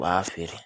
U b'a feere